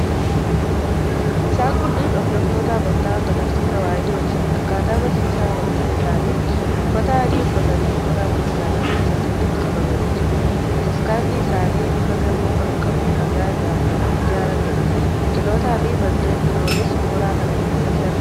Isaan kunneen hordoftoota amantaa Ortodoksii Tewaahidooti. Akkaataa barsiisa amantaa isaaniitti uffata adii uffatanii mooraa Bataskaanaa keessatti walitti qabamanii jiru. Bataskaanni isaanii bifa gamoo kan qabu dhagaa irraa kan ijaarameedha. Biqiltootaafi manneen biroonis mooraa kana keessatti argamu.